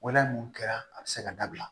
Wɛlɛ nunnu kɛra a bɛ se ka dabila